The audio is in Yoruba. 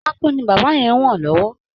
Pákó ni bàbá yẹn ń wọ̀n lọ́wọ́